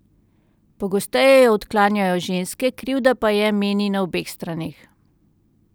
Pogosteje jo odklanjajo ženske, krivda pa je, meni, na obeh straneh.